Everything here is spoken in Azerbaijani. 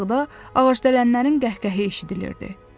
aşağıda ağacdələnlərin qəhqəhəsi eşidilirdi.